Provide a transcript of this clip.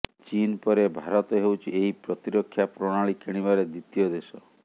ଚୀନ୍ ପରେ ଭାରତ ହେଉଛି ଏହି ପ୍ରତିରକ୍ଷା ପ୍ରଣାଳୀ କିଣିବାରେ ଦ୍ୱିତୀୟ ଦେଶ